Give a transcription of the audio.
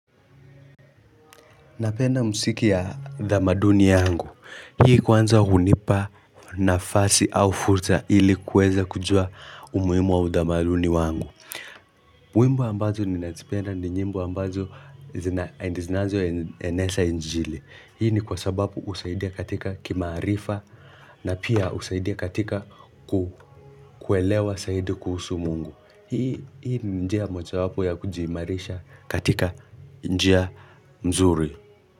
Napenda mziki ya tamaduni yangu. Hii kwanza hunipa nafasi au fursa ili kweza kujua umuhimu wa utamaduni wangu. Wimbo ambazo ninazipenda ni nyimbo ambazo zinazo eneza injili. Hii ni kwa sababu husaidia katika kimaarifa na pia husaidia katika kuelewa zaidi kuhusu mungu. Hii ni njia moja wapo ya kujiimarisha katika njia mzuri.